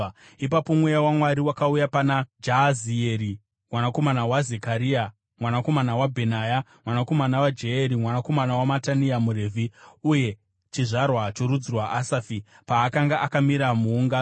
Ipapo mweya waMwari wakauya pana Jahazieri mwanakomana waZekaria, mwanakomana waBhenaya, mwanakomana waJeyeri, mwanakomana waMatania muRevhi uye chizvarwa chorudzi rwaAsafi, paakanga akamira muungano.